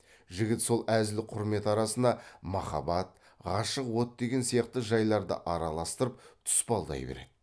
жігіт сол әзіл құрмет арасына махаббат ғашық от деген сияқты жайларды араластырып тұспалдай береді